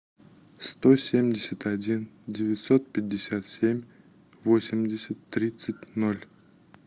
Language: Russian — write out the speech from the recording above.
сто семьдесят один девятьсот пятьдесят семь восемьдесят тридцать ноль